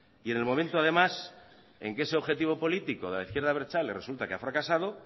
y en el momento además en que ese objetivo político de la izquierda abertzale resulta que ha fracasado